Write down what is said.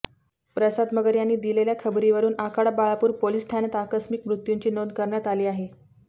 प्रसाद मगर यांनी दिलेल्या खबरीवरुन आखाडा बाळापुर पोलीस ठाण्यात आकस्मीक मृत्यूची नोंद करण्यात आली आहे